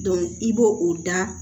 i b'o o da